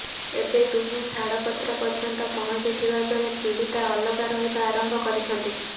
ଏବେ ଦୁହେଁ ଛାଡ଼ପତ୍ର ପର୍ଯ୍ୟନ୍ତ ପହଞ୍ଚିଥିବା ବେଳେ ପୀଡ଼ିତା ଅଲଗା ରହିବା ଆରମ୍ଭ କରିଛନ୍ତି